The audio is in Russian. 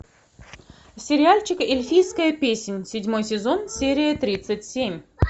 сериальчик эльфийская песнь седьмой сезон серия тридцать семь